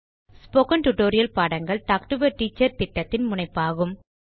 spoken tutorial பாடங்கள் talk to a teacher திட்டத்தின் முனைப்பாகும்